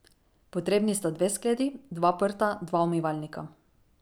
Potrebni sta dve skledi, dva prta, dva umivalnika.